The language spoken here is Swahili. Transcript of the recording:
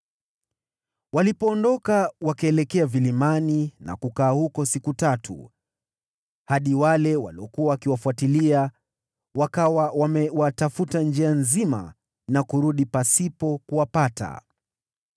Walipoondoka, wakaelekea vilimani na kukaa huko siku tatu, hadi wale waliokuwa wakiwafuatilia wakawa wamewatafuta njia nzima na kurudi pasipo kuwapata.